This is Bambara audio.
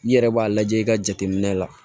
N'i yɛrɛ b'a lajɛ i ka jateminɛ la